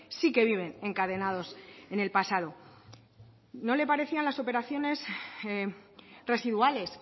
sí que viven encadenados en el pasado no le parecían las operaciones residuales